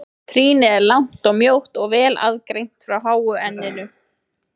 Trýnið er langt og mjótt og vel aðgreint frá háu enninu.